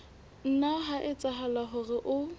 nna ha etsahala hore o